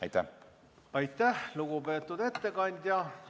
Aitäh, lugupeetud ettekandja!